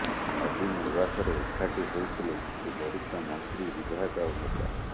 ନବୀନ ନିବାସରେ ଏକାଠି ହୋଇଥିଲେ କିଛୀ ବରିଷ୍ଠ ମନ୍ତ୍ରୀ ବିଧାୟକ ଆଉ ନେତା